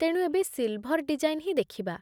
ତେଣୁ, ଏବେ silver design ହିଁ ଦେଖିବା।